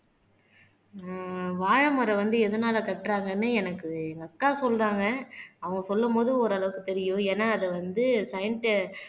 ஆஹ் வாழைமரம் வந்து எதனால கட்டறாங்கன்னு எனக்கு எங்க அக்கா சொல்றாங்க அவங்க சொல்லும் போது ஓரளவுக்கு தெரியும் ஏன்னா அது வந்து சயின்ஸ்